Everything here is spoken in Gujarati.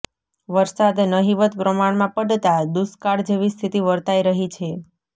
વરસાદ નહિવત પ્રમાણમાં પડતા દુષ્કાળ જેવી સ્થિતિ વર્તાઈ રહી છે